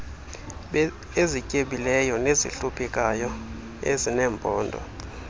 ezityebileyo nezihluphekayo ezineembono